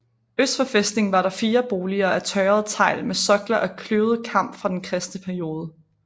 Øst for fæstningen var der fire boliger af tørret tegl med sokler af kløvet kamp fra den kristne periode